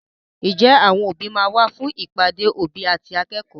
Ǹjẹ́ àwọn òbí máa wá fún ìpàdé òbí àti akẹ́kọ̀ọ́?